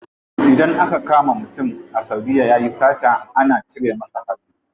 Idan aka kama mutum a saudiya yayi sata ana cire masa hannu.